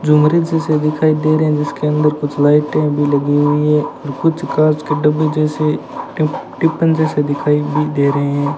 जो मरीज से दिखाई दे रहे हैं जिसके अंदर कुछ लाइटे भी लगी हुई है कुछ कांच के डब्बे जैसे किप्पन जैसे दिखाई भी दे रहे है।